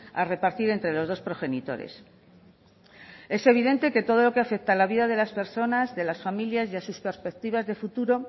a repartir entre los dos progenitores es evidente que todo lo que afecta a la vida de las personas de las familias y a sus perspectivas de futuro